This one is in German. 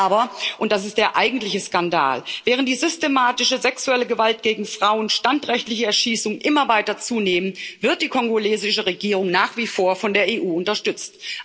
Aber, und das ist der eigentliche Skandal, während die systematische sexuelle Gewalt gegen Frauen, standrechtliche Erschießungen immer weiter zunehmen, wird die kongolesische Regierung nach wie vor von der EU unterstützt.